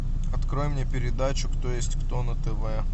открой мне передачу кто есть кто на тв